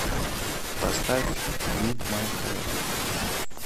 поставь вип май хэа